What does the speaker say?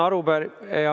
Aitäh!